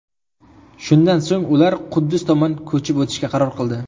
Shundan so‘ng ular Quddus tomon ko‘chib o‘tishga qaror qildi.